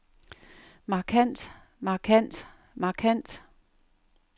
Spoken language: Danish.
markant markant markant